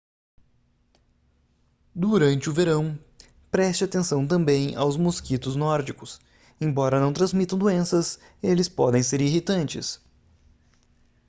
durante o verão preste atenção também aos mosquitos nórdicos embora não transmitam doenças eles podem ser irritantes